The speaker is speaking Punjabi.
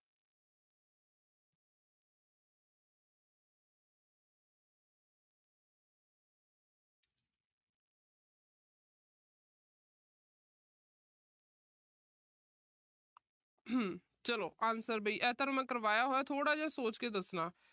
ਚਲੋ answer ਵੀ। ਇਹ ਵੀ ਮੈਂ ਤੁਹਾਨੂੰ ਕਰਵਾਇਆ ਹੋਇਆ ਥੋੜਾ ਜਾ ਸੋਚ ਕੇ ਦੱਸਣਾ।